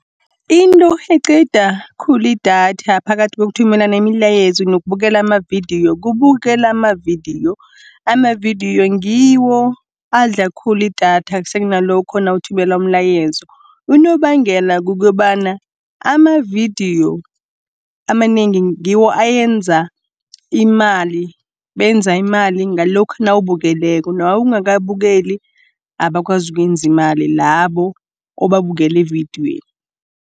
Into eqeda khulu idatha phakathi kokuthumelana imilayezo nokubukela amavidiyo, kubukela amavidiyo. Amavidiyo ngiwo adla khulu idatha sekunalokho nawuthumela umlayezo, unobangela kukobana amavidiyo amanengi ngiwo enza imali. Benza imali ngalokha nawubukeleko, nawungakabukeli abakwazi ukwenzi imali labo obabukele evidiyweni.